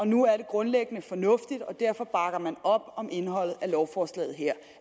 nu er det grundlæggende fornuftigt og derfor bakker man op om indholdet af lovforslaget her